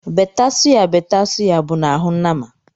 Bête sụya bête sụya bụ n’ahụ nama